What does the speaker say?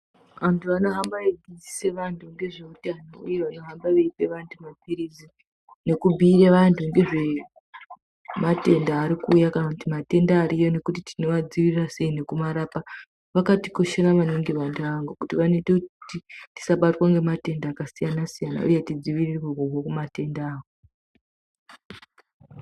Vantu vanohamba veidzidzisa vantu ngezveutano uye nevanohamba veipe vantu mapilizi nekubhiire vantu ngezvematenda arikuuya kana kuti matenda ariyo nekuti tinomadzivirira sei nekumarapa, vakatikoshera maningi vantu avavo ngekuti vanoite kuti tisabatwa ngematenda akasiyana-siyana, uye tidzivirirwe kubve kumatendawo.